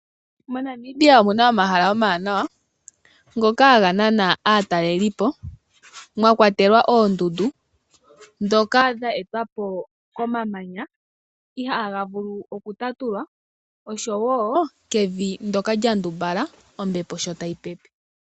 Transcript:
MoNamibia omuna omahala omawaanawa ngoka haga nana aataleli mwakwatelwa oondundu ndhoka dha etwapo komamanya ihaga vulu okutatulwa osho woo omavi ngoka gagongelwa kombepo.